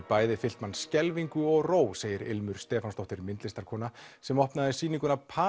bæði fyllt mann skelfingu og ró segir ilmur Stefánsdóttir myndlistarkona sem opnaði sýninguna